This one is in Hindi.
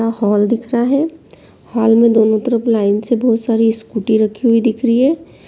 यहाँ हॉल दिख रहा है हॉल में दोनों तरफ लाइन से बहुत सारी स्कूटी रखी हुई दिख रही है।